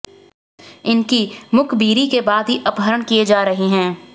इनकी मुखबिरी के बाद ही अपहरण किए जा रहे हैं